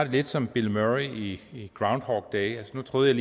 ligesom bill murray i groundhog day altså nu troede